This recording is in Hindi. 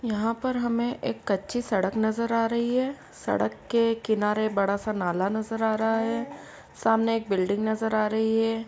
यहां पर हमें एक कच्ची सड़क नजर आ रही है| सड़क के किनारे बड़ा सा नाला नजर आ रहा है| सामने एक बिल्डिंग नजर आ रही है।